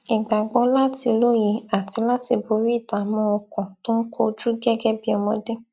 ìgbàgbó láti lóye àti láti borí ìdààmú ọkàn tó ń kojú gẹgẹ bí ọmọdé